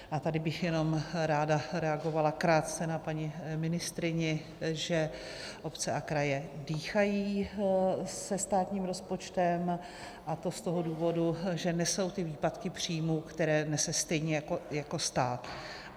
A tady bych jenom ráda reagovala krátce na paní ministryni, že obce a kraje dýchají se státním rozpočtem, a to z toho důvodu, že nesou ty výpadky příjmů, které nesou stejně jako stát.